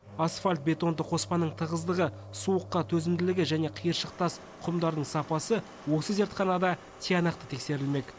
асфальт бетонды қоспаның тығыздығы суыққа төзімділігі және қиыршық тас құмдардың сапасы осы зертханада тиянақты тексерілмек